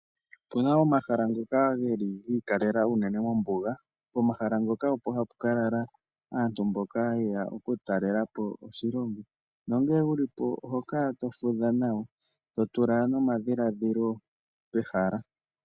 Opu na omahala ngoka geli gi ikalela unene mombuga. Pomahala ngoka opo hapu kala aantu mboka yeya okutalelapo oshilongo, nongele wulipo oho kala to fudha nawa, totula nomadhiladhilo pehala.